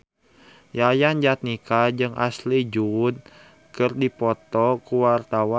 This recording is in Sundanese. Yayan Jatnika jeung Ashley Judd keur dipoto ku wartawan